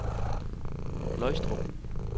Løgstrup